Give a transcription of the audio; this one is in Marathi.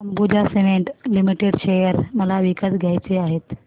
अंबुजा सीमेंट लिमिटेड शेअर मला विकत घ्यायचे आहेत